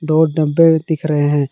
दो और डब्बे दिख रहे हैं।